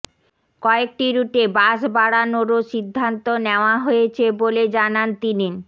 কয়েকটি রুটে বাস বাড়ানোরও সিদ্ধান্ত নেওয়া হয়েছে বলে জানান তিনি